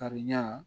Kariya